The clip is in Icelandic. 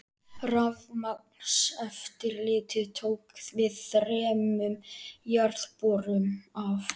Rafmagnseftirlitið tók við þremur jarðborum af